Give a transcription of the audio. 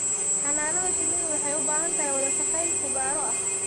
Xannaanada shinnidu waxay u baahan tahay wada shaqayn khubaro ah.